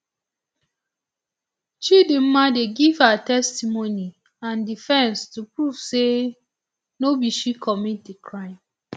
chidimma dey give her testimony and defence to prove say um no be she commit di crime